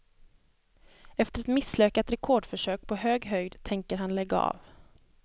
Efter ett misslyckat rekordförsök på hög höjd tänker han lägga av.